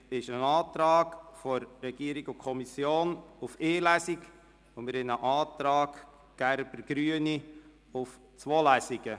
Es liegen ein Antrag der Regierung/Kommission auf eine Lesung und ein Antrag Gerber/Grüne auf zwei Lesungen vor.